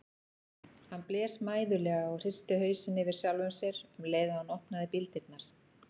Hann blés mæðulega og hristi hausinn yfir sjálfum sér um leið og hann opnaði bíldyrnar.